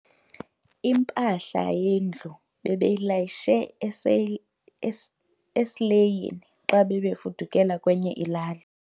Impahla yendlu bebeyilayishe esileyini xa bebefudukela kwenye ilali.